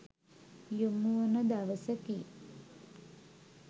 යොමුවන දවසකි.